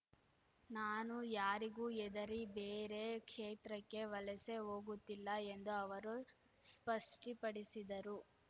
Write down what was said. ನಾನು ಯಾರಿಗೂ ಎದರಿ ಬೇರೆ ಕ್ಷೇತ್ರಕ್ಕೆ ವಲಸೆ ಹೋಗುತ್ತಿಲ್ಲ ಎಂದು ಅವರು ಸ್ಪಷ್ಟಪಡಿಸಿದರು